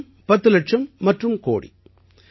இலட்சம் பத்து இலட்சம் மற்றும் கோடி